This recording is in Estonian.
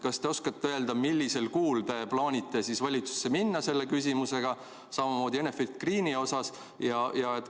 Kas te oskate öelda, mis kuus te plaanite selle küsimusega valitsusse minna, samamoodi Enefit Greeni puhul?